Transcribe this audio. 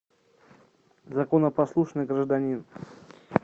законопослушный гражданин